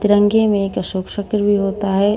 तिरंगे में एक अशोक चक्र भी होता है।